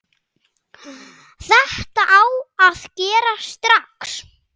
Þetta á að gerast strax.